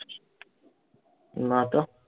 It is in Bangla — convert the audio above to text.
না তো